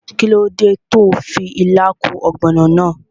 Kíló dé tó n fi ilá kún ògbònò náà?